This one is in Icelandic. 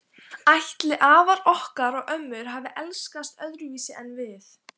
Ætli afar okkar og ömmur hafi elskast öðruvísi en við?